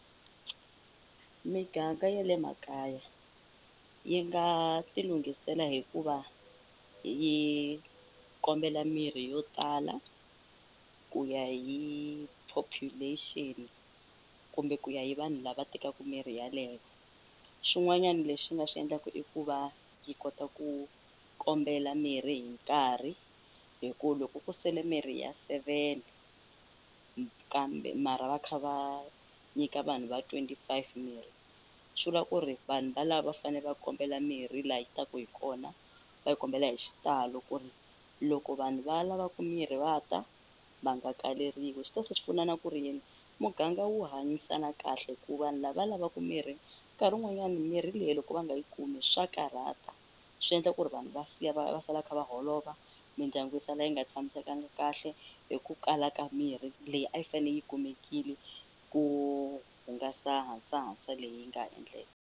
Miganga ya le makaya yi nga ti lunghisela hikuva yi kombela mirhi yo tala ku ya hi population kumbe ku ya hi vanhu lava tekaku mirhi yaleyo swin'wanyani leswi yi nga swi endlaku i ku va yi kota ku kombela mirhi hi nkarhi hi ku loko ku sele mirhi ya seven kambe mara va kha va nyika vanhu va twenty five mirhi swi vula ku ri vanhu valavo va fane va kombela mirhi la yi taku hi kona va yi kombela hi xitalo ku ri loko vanhu va lavaku mirhi va ta va nga kaleriwi swi ta se swi pfuna na ku ri yini muganga wu hanyisana kahle hi ku vanhu lava lavaku mirhi nkarhi wun'wanyani mirhi leyi loko va nga yi kumi swa karhata swi endla ku ri vanhu va siya va va sala va kha va holova mindyangu yi sala yi nga tshamisekangi kahle hi ku kala ka mirhi leyi a yi fane yi kumekile ku hungasa hasahasa leyi nga endleka.